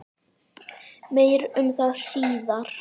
Meir um það síðar.